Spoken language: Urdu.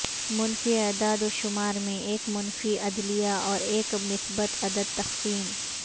منفی اعداد و شمار میں ایک منفی عدلیہ اور ایک مثبت عدد تقسیم